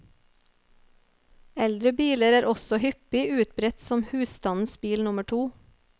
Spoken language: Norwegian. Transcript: Eldre biler er også hyppig utbredt som husstandens bil nummer to.